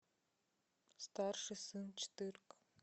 старший сын четырка